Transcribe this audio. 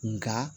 Nka